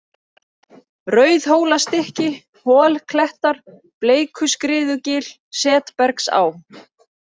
Rauðhólastykki, Holklettar, Bleikuskriðugil, Setbergsá